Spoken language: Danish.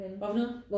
Hvad for noget?